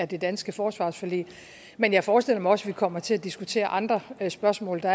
det danske forsvarsforlig men jeg forestiller mig også at vi kommer til at diskutere andre spørgsmål der